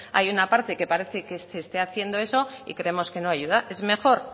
hay una parte que parece que esté haciendo eso y creemos que no ayuda es mejor